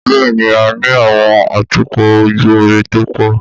Bẹ́ẹ̀ni, a ní àwọn atukọ̀ ojú omi tó pọ̀.